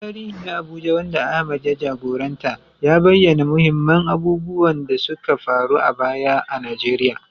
Gyaran tarihi na Abuja, wanda Ahmad ya jagoranta, ya bayyana muhimman abubuwan da suka faru a baya a Najeriya